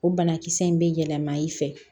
O banakisɛ in bɛ yɛlɛma i fɛ